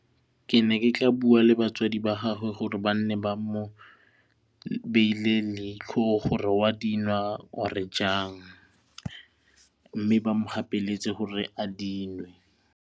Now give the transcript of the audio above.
Ke ne ke ka bua le batswadi ba gage gore ba nne ba mo beile leitlho gore wa dinwa or jang mme ba mo gapeletsege gore a dinwe.